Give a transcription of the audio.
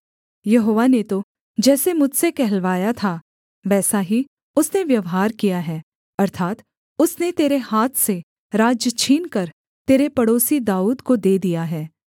यहोवा ने तो जैसे मुझसे कहलवाया था वैसा ही उसने व्यवहार किया है अर्थात् उसने तेरे हाथ से राज्य छीनकर तेरे पड़ोसी दाऊद को दे दिया है